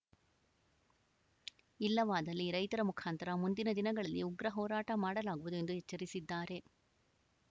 ಇಲ್ಲವಾದಲ್ಲಿ ರೈತರ ಮುಖಾಂತರ ಮುಂದಿನ ದಿನಗಳಲ್ಲಿ ಉಗ್ರ ಹೋರಾಟ ಮಾಡಲಾಗುವುದು ಎಂದು ಎಚ್ಚರಿಸಿದ್ದಾರೆ